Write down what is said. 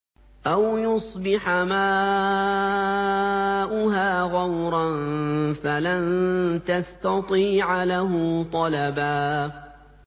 أَوْ يُصْبِحَ مَاؤُهَا غَوْرًا فَلَن تَسْتَطِيعَ لَهُ طَلَبًا